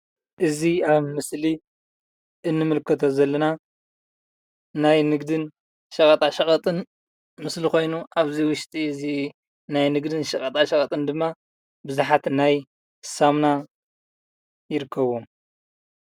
እዚ ኣብ ምስሊ እንምልከቶ ዘለና ናይ ንግድን ሸቐጣ ሸቐጥን ምስሊ ኮይኑ ኣብዚ ውሽጢ እዚ ናይ ንግድን ሸቐጣ ሸቐጥን ድማ ብዙሓት ናይ ሳሙና ይርከቡዎም፡፡